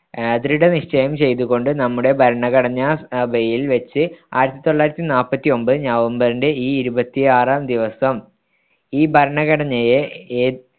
ആഹ് ദൃഢനിശ്ചയം ചെയ്തുകൊണ്ട് നമ്മുടെ ഭരണഘടനാസഭയിൽവച്ച് ആയിരത്തിതൊള്ളായിരത്തിനാൽപ്പത്തിയൊമ്പതിൽ നവംബറിന്റെ ഈ ഇരുപത്തിയാറാം ദിവസം ഈ ഭരണഘടനയെ ഏത്